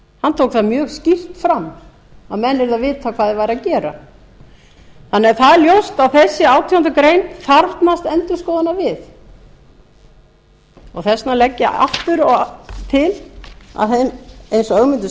hann tók það mjög skýrt fram að menn yrðu að vita hvað þeir væru að gera það er ljóst að þessi átjándu grein þarfnast endurskoðunar við þess vegna legg ég aftur til eins og ögmundur